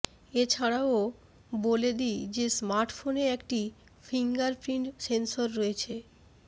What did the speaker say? এছাড়াও বলে দি যে স্মার্টফোনে একটি ফিঙ্গারপ্রিন্ট সেন্সর রয়েছে